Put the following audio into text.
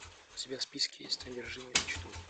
у тебя в списке есть одержимые мечтой